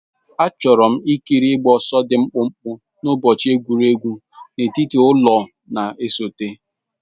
Achọrọ m ikiri ịgba ọsọ dị mkpụmkpụ n'ụbọchị egwuregwu n'etiti ụlọ na-esote.